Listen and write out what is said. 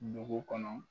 Dugu kɔnɔ